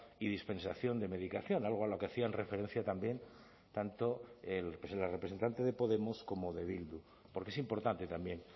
y dispensación de medicación algo a lo que hacían referencia también tanto la representante de podemos como de bildu porque es importante también